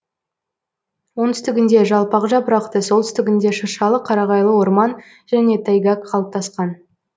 оңтүстігінде жалпақ жапырақты солтүстігінде шыршалы қарағайлы орман және тайга қалыптасқан